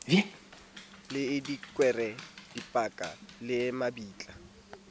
le dikwere dipaka le mabitla